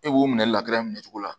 E b'o minɛ minɛ cogo la